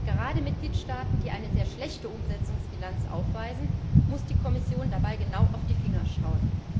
Gerade den Mitgliedstaaten, die eine sehr schlechte Umsetzungsbilanz aufweisen, muss die Kommission dabei genau auf die Finger schauen.